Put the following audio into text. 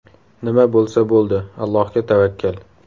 Nima bo‘lsa bo‘ldi, Allohga tavakkal.